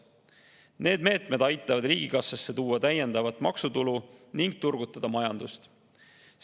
Need meetmed aitavad tuua riigikassasse täiendavat maksutulu ning turgutada majandust.